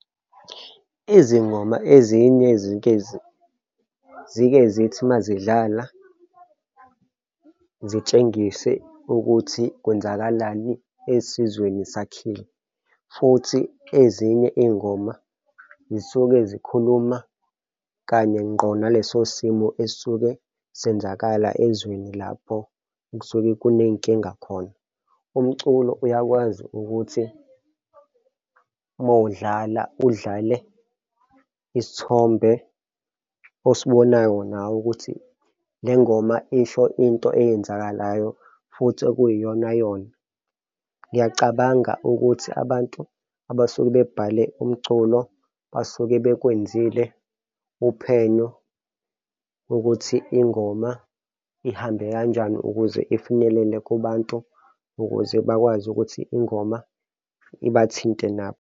Izingoma ezinye zike zuke zithi uma zidlala, zitshengise ukuthi kwenzakalani esizweni sakhile, futhi ezinye iy'ngoma zisuke zikhuluma kanye ngqo naleso simo esisuke zenzakala ezweni lapho kusuke kuney'nkinga khona. Umculo uyakwazi ukuthi uma udlala udlale isithombe osibonayo nawe ukuthi le ngoma isho into eyenzakalayo futhi okuyiyona yona. Ngiyacabanga ukuthi abantu abasuke bebhale umculo basuke bekwenziwe uphenyo ukuthi ingoma ihambe kanjani ukuze ifinyelele kubantu ukuze bakwazi ukuthi ingoma ibathinte nabo.